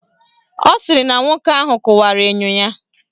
Ọ sịrị na nwoke ahụ kụwara enyo ya.